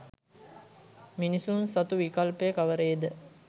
මිනිසුන් සතු විකල්පය කවරේ ද?